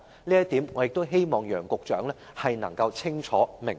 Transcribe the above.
這一點，我亦希望楊局長能夠清楚明白。